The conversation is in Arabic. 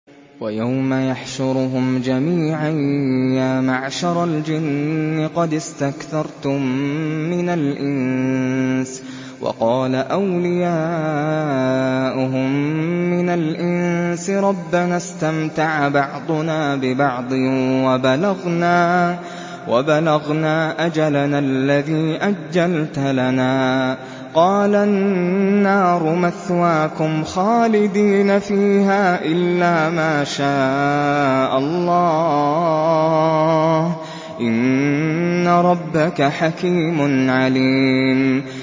وَيَوْمَ يَحْشُرُهُمْ جَمِيعًا يَا مَعْشَرَ الْجِنِّ قَدِ اسْتَكْثَرْتُم مِّنَ الْإِنسِ ۖ وَقَالَ أَوْلِيَاؤُهُم مِّنَ الْإِنسِ رَبَّنَا اسْتَمْتَعَ بَعْضُنَا بِبَعْضٍ وَبَلَغْنَا أَجَلَنَا الَّذِي أَجَّلْتَ لَنَا ۚ قَالَ النَّارُ مَثْوَاكُمْ خَالِدِينَ فِيهَا إِلَّا مَا شَاءَ اللَّهُ ۗ إِنَّ رَبَّكَ حَكِيمٌ عَلِيمٌ